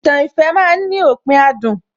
Ìtàn ìfẹ́ ma ń ní òpin adùn